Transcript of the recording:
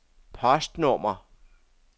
postnummer